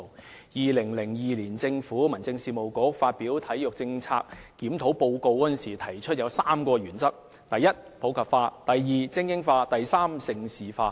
在2002年，民政事務局發表《體育政策檢討報告書》時提出了3項原則：第一，是普及化；第二，是精英化；及第三，是盛事化。